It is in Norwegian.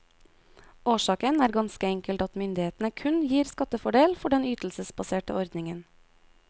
Årsaken er ganske enkelt at myndighetene kun gir skattefordel for den ytelsesbaserte ordningen.